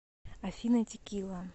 афина текила